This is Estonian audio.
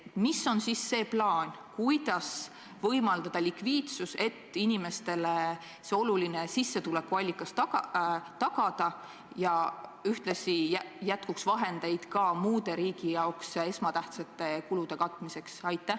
Milline on siis valitsuse plaan: kuidas kindlustada likviidsus, et inimestele see oluline sissetulekuallikas tagada ja ühtlasi jätkuks vahendeid ka muude riigi jaoks esmatähtsate kulude katmiseks?